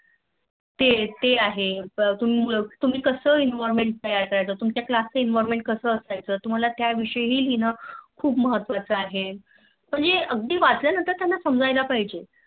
ते ते आहे तुम्ही कास environment तैयार करायचं तुमच्या Class च Environment कास असायचं तुम्हला त्या विषयी पण लिहायचं खूप महत्वाचं आहे म्हणजे अगदी वचल्यानंतर त्याना समझयाला पाहिजे